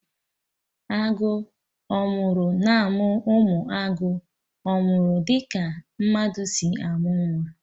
Agụ owuru na-amụ ụmụ agụ owuru dị ka mmadụ si amụ nwa